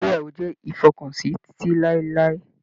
Ìgbéyàwó jẹ ifọkansi titi lailai.